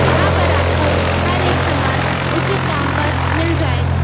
यहां पर आपको हर एक समान उचित दाम पर मिल जायेगा।